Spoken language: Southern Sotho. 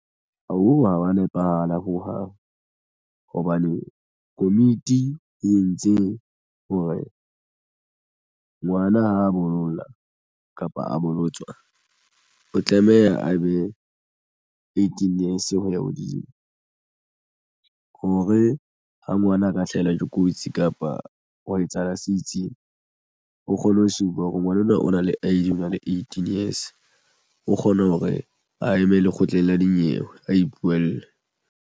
Ha wa nepahala hohang hobane komiti e entse hore ngwana ha a bolla kapa a bolotswa o tlameha a be eighteen years ho ya hodimo hore ha ngwana a ka hlahelwa ke kotsi kapa ha etsahala se itseng o kgone ho se utlwa hore ngwana ona o na le I_D o na le eighteen years o kgona hore a eme lekgotleng la dinyewe a ipuelle.